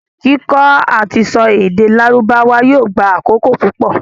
Kíkọ́ àtisọ èdè lárùbáwá yóò gba àkókò púpọ̀.